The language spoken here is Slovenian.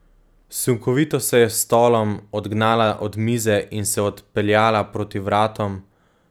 Sunkovito se je s stolom odgnala od mize in se odpeljala proti vratom, se sredi vožnje obrnila za devetdeset stopinj in se ustavila pred oknom.